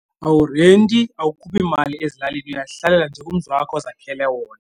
Awurenti, awukhuphi mali ezilalini uyazihlalela njee kumzi wakho ozakhele wona.